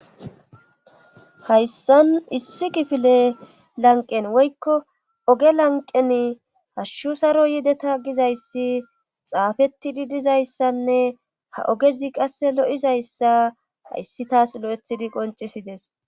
Hayssan issi kifile lanqen woykko oge lanqen hashshu saro yideta gizayssi xaafettidi dizayssanne ha ogezi qasse lo,izayssa hayssi taas lo,ethidi qoncisides.